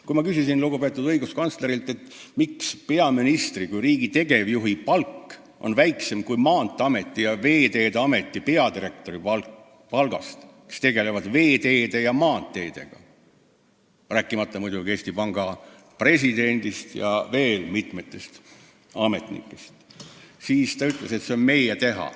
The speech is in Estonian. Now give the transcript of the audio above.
Kui ma küsisin lugupeetud õiguskantslerilt, miks peaministri kui riigi tegevjuhi palk on väiksem kui Maanteeameti ja Veeteede Ameti peadirektori palk – nemad tegelevad veeteede ja maanteedega –, rääkimata muidugi Eesti Panga presidendist ja veel mitmest ametnikust, siis ta ütles, et see on meie teha.